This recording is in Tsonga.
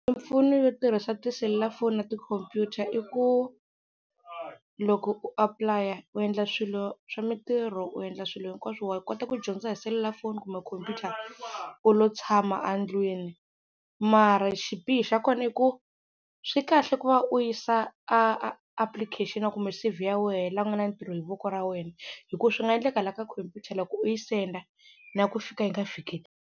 Mimpfuno yo tirhisa tiselulafoni na tikhompyuta i ku loko u apulaya u endla swilo swa mintirho, u endla swilo hinkwaswo wa kota ku dyondza hi selulafoni kumbe khompyuta u lo tshama a ndlwini mara xibihi xa kona i ku swi kahle ku va u yisa application kumbe C_V ya wehe la ku nga na ntirho hi voko ra wena hi ku swi nga endleka la ka khompyuta loko u yi senda na ku fika yi nga fiki.